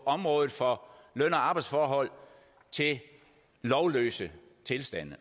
området for løn og arbejdsforhold til lovløse tilstande